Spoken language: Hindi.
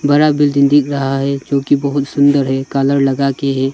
बड़ा बिल्डिंग दिख रहा है जोकि बहुत सुंदर है कालर लगाके है।